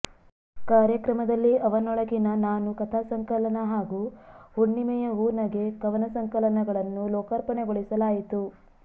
ಕಾರ್ಯಕ್ರಮದಲ್ಲಿ ಅವನೊಳಗಿನ ನಾನು ಕಥಾಸಂಕಲನ ಹಾಗೂ ಹುಣ್ಣಿಮೆಯ ಹೂ ನಗೆ ಕವನ ಸಂಕಲನಗಳನ್ನು ಲೋಕಾರ್ಪಣೆಗೊಳಿಸಲಾಯಿತು